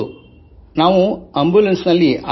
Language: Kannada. ಹೌದು ಆಂಬುಲೆನ್ಸ್ ನಲ್ಲಿ